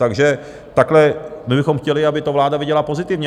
Takže takhle my bychom chtěli, aby to vláda viděla pozitivně.